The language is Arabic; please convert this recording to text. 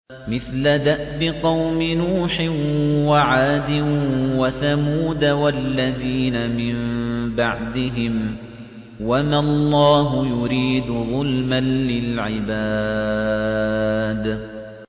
مِثْلَ دَأْبِ قَوْمِ نُوحٍ وَعَادٍ وَثَمُودَ وَالَّذِينَ مِن بَعْدِهِمْ ۚ وَمَا اللَّهُ يُرِيدُ ظُلْمًا لِّلْعِبَادِ